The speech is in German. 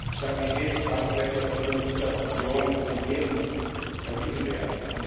Der Stabilität des Bankensektors würde mit dieser Fusion ein Bärendienst erwiesen werden.